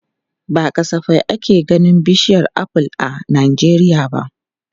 Ba kasafai ake ganin bishiyar aful a Najeriya ba.